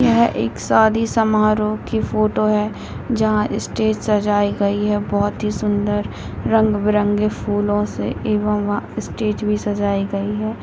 यह एक शादी-समारोह की फोटो है जहाँ स्टेज सजायी गयी है बहुत ही सुन्दर रंग-बिरंगे फूलो से एवं वहां स्टेज भी सजायी गई है।